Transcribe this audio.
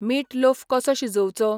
मीट loaf कसो शिजोवचो ?